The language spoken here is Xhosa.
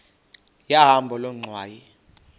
yahamba loo ngxwayi